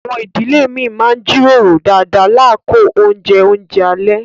Àwọn ìdílé mi má n jíròrò dáadá lákọ̀ ọ̀un jẹ́ ọ̀unjẹ̀ alẹ̀.